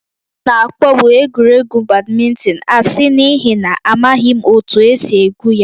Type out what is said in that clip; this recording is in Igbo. M na-akpọbu egwuregwu badminton asị n'ihi na amaghị m otú e si egwu ya